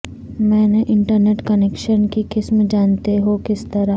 میں نے internet connection کی قسم جانتے ہو کس طرح